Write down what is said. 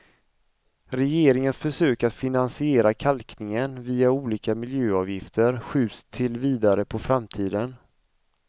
Regeringens försök att finansiera kalkningen via olika miljöavgifter skjuts till vidare på framtiden.